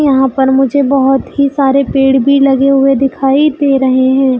यहाँ पर मुझे बहोत ही सारे पेड़ भी लगे हुए दिखाई दे रहे है।